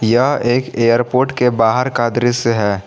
यह एक एयरपोर्ट के बाहर का दृश्य है।